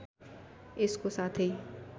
यसको साथै